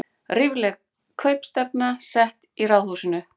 Lífleg kaupstefna sett í Ráðhúsinu